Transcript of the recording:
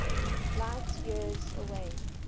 light years away